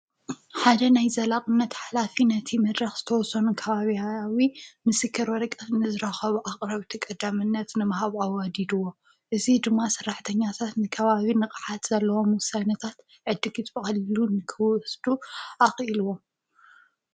ሓደ ናይ ዘላቕነት ኃላፊ ነቲ መድራኽ ዝተወሶኑ ካባብያዊ ምስከር ወርቀት ንዝረኸብ ኣቕረብ ተ ቀዳምነት ንመሃብዊኣዲድዎ እዙ ድማ ሠራሕ ተኛታት ንከባቢ ነቕሓት ዘለዎ ምዉሰንታት ዕድጊትቐሊሉ ንክወስዱ ኣቕኢልዎ።